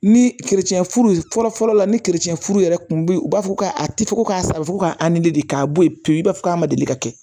Ni furu fɔlɔ fɔlɔ la ni furu yɛrɛ kun bɛ ye u b'a fɔ ko a ti fɔ ko k'a saron fo ka de k'a bɔ ye pewu i b'a fɔ k'a ma deli ka kɛ